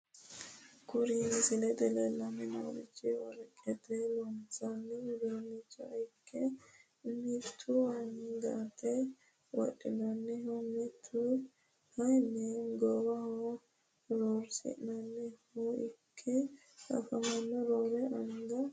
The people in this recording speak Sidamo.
Kuri misilete leelani noorichi worqete loonsoni uduunichi ikke mitu angate wodhinaniho mittu kayini goowaho rarasinaniha ikke afamanohu roore anga shakisooti.